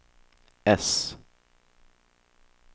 äss